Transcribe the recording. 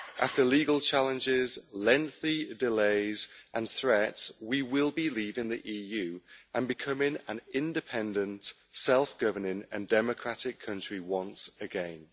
After legal challenges, lengthy delays and threats, we will be leaving the EU, and become an independent, self governing and democratic country once again.